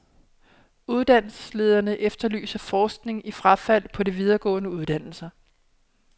Uddannelsesledere efterlyser forskning i frafald på de videregående uddannelser.